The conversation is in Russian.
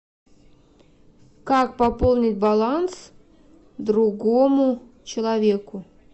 как пополнить баланс другому человеку